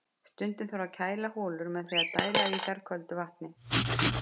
Stundum þarf að kæla holur með því að dæla í þær köldu vatni.